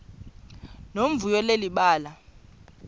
nomvuyo leli bali